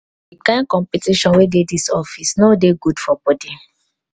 di kain competition wey dey dis office no dey good for bodi